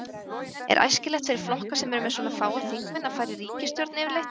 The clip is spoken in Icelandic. Er æskilegt fyrir flokka sem eru með svona fáa þingmenn að fara í ríkisstjórn yfirleitt?